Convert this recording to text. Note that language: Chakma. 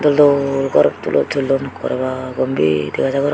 dol dol gorot tulo tullon ekkore baa gobir dega jai goron.